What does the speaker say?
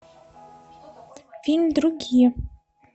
фильм другие